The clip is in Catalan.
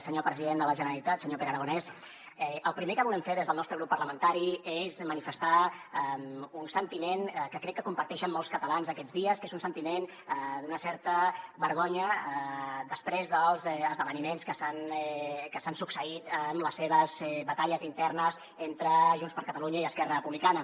senyor president de la generalitat senyor pere aragonès el primer que volem fer des del nostre grup parlamentari és manifestar un sentiment que crec que comparteixen molts catalans aquests dies que és un sentiment d’una certa vergonya després dels esdeveniments que s’han succeït amb les seves batalles internes entre junts per catalunya i esquerra republicana